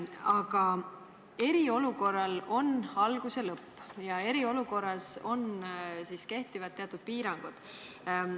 Aga eriolukorral on algus ja lõpp ning eriolukorras kehtivad teatud piirangud.